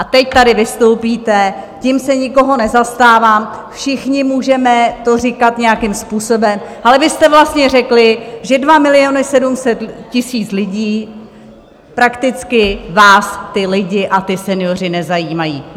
A teď tady vystoupíte, tím se nikoho nezastávám, všichni můžete to říkat nějakým způsobem, ale vy jste vlastně řekli, že 2 700 000 lidí, prakticky vás ti lidé a ti senioři nezajímají!